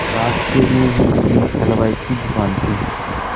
रास्ते में ही एक हलवाई की दुकान थी